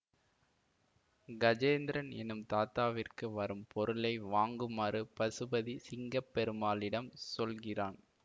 கஜேந்திரன் என்னும் தாதாவிற்க்கு வரும் பொருளை வாங்குமாறு பசுபதி சிங்கம்பெருமாளிடம் சொல்கிறான்